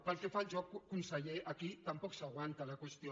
pel que fa al joc conseller aquí tampoc s’aguanta la qüestió